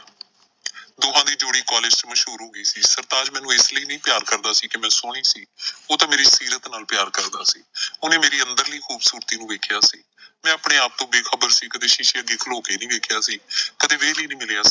ਦੋਹਾਂ ਦੀ ਜੋੜੀ ਕਾਲਜ਼ ਚ ਮਸ਼ਹੂਰ ਹੋ ਗਈ ਸੀ। ਸਰਤਾਜ ਮੈਨੂੰ ਏਸ ਲਈ ਨਈਂ ਪਿਆਰ ਕਰਦਾ ਸੀ ਕਿ ਮੈਂ ਸੋਹਣੀ ਸੀ ਉਹ ਤਾਂ ਮੇਰੀ ਸੀਰਤ ਨਾਲ ਪਿਆਰ ਕਰਦਾ ਸੀ। ਉਹਨੇ ਮੇਰੀ ਅੰਦਰਲੀ ਖ਼ੂਬਸੂਰਤੀ ਨੂੰ ਵੇਖਿਆ ਸੀ, ਮੈਂ ਆਪਣੇ ਆਪ ਤੋਂ ਬੇਖ਼ਬਰ ਸੀ ਕਦੇ ਸ਼ੀਸ਼ੇ ਅੱਗੇ ਖਲੋ ਕੇ ਨਈਂ ਵੇਖਿਆ ਸੀ, ਕਦੇ ਵਿਹਲ ਈ ਨਈਂ ਮਿਲਿਆ।